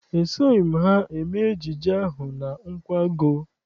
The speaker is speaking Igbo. Esoghị m ha eme ejije ahụ na nkwago.